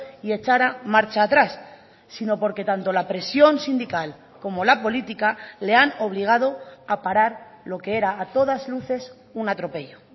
y echara marcha atrás sino porque tanto la presión sindical como la política le han obligado a parar lo que era a todas luces un atropello